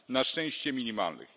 Na szczęście minimalnych.